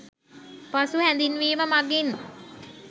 පසු හැදින්වීම මගින්